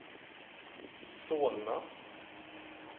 Solna